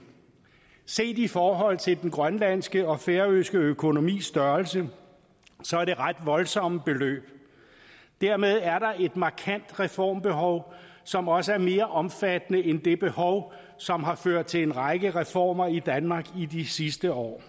set i forhold til den grønlandske og færøske økonomis størrelse er det ret voldsomme beløb dermed er der et markant reformbehov som også er mere omfattende end det behov som har ført til en række reformer i danmark i de sidste år